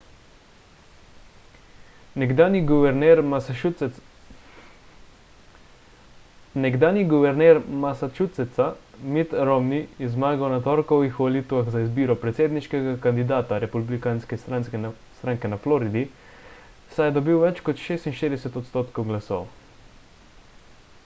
nekdanji guverner massachusettsa mitt romney je zmagal na torkovih volitvah za izbiro predsedniškega kandidata republikanske stranke na floridi saj je dobil več kot 46 odstotkov glasov